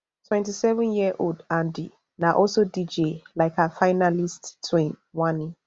twenty-sevenyearold handi na also dj lik her finalist twin wanni